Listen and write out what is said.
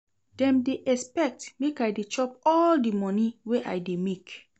Dem dey expect make I dey chop all di moni wey I dey make.